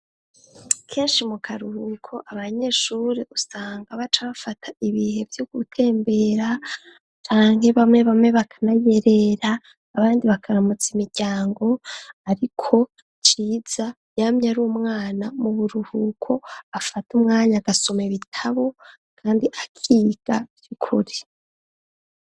Kenshi mu karuhuko abanyeshure usanga baca bafata ibihe vyo gutembera cange bamwe bakanayerera abandi bakaramutsa imiryango ariko Ciza yamye ari umwana mu buruhuko afata umwanya gasomo ibitabo kandi akiga vy'ukuri.